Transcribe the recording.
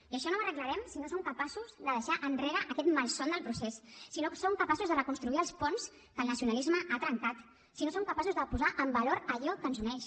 i això no ho arreglarem si no som capaços de deixar enrere aquest malson del procés si no som capaços de reconstruir els ponts que el nacionalisme ha trencat si no som capaços de posar en valor allò que ens uneix